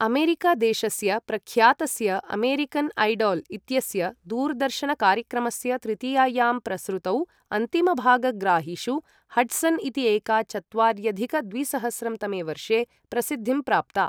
America देशस्य प्रख्यातस्य American Idol इत्यस्य दूरदर्शन कार्यक्रमस्य तृतीयायां प्रसृतौ अन्तिमभाग ग्राहिषु हड्सन् इति एका चत्वार्यधिक द्विसहस्रं तमे वर्षे प्रसिद्धिं प्राप्ता।